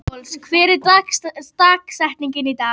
Alparós, hver er dagsetningin í dag?